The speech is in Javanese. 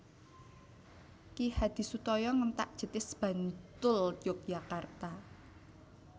Ki Hadisutoyo Ngentak Jetis Bantul Yogyakarta